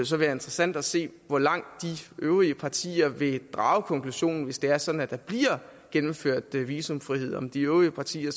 så være interessant at se hvor langt de øvrige partier vil drage konklusionen hvis det er sådan at der bliver gennemført visumfrihed om de øvrige partier